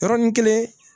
Yɔrɔnin kelen